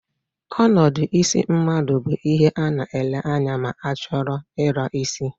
Onodu isi mmadu bu ihe a na-ele anya ma a choro I la isi.